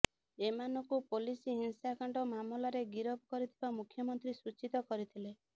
ଏମାନଙ୍କୁ ପୋଲିସ ହିଂସାକାଣ୍ଡ ମାମଲାରେ ଗିରଫ କରିଥିବା ମୁଖ୍ୟମନ୍ତ୍ରୀ ସୂଚିତ କରିଥିଲେ